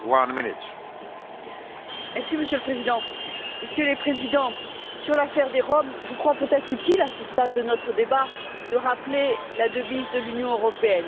Monsieur le Président, Messieurs les Présidents, sur l'affaire des Roms, je crois peut être utile, à ce stade de notre débat, de rappeler la devise de l'Union européenne l'union dans la diversité.